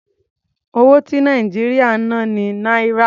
Owó ti Nàìjíríà ń ná ni Náírà.